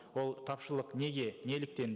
ол тапшылық неге неліктен